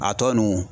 A tɔ ninnu